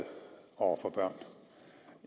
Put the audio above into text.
over for børn